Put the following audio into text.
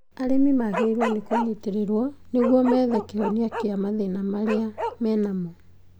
Arĩmi magĩrĩirwo nĩkũnyitĩrĩrwo nĩguo methe kĩhonia gĩa mathĩna marĩa menamo